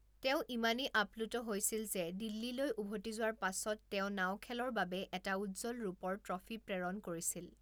তেওঁ ইমানেই আপ্লুত হৈছিল যে দিল্লীলৈ উভতি যোৱাৰ পাছত তেওঁ নাও খেলৰ বাবে এটা উজ্জ্বল ৰূপৰ ট্ৰফী প্ৰেৰণ কৰিছিল।